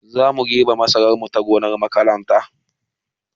Zamu girbe masarar mu ta gonar makaranta